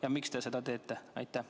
Ja miks te seda teete?